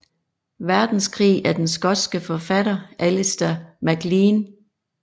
Verdenskrig af den skotske forfatter Alistair MacLean